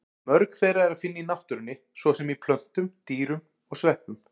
Mörg þeirra er að finna í náttúrunni, svo sem í plöntum, dýrum og sveppum.